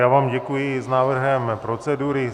Já vám děkuji za návrh procedury.